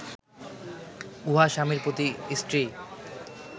উহা স্বামীর প্রতি স্ত্রীর